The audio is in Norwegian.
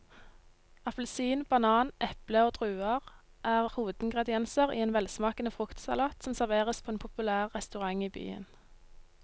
Appelsin, banan, eple og druer er hovedingredienser i en velsmakende fruktsalat som serveres på en populær restaurant i byen.